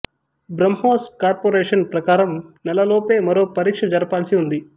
BrahMos corporation ప్రకారం నెల లోపే మరో పరీక్ష జరపాల్సి ఉంది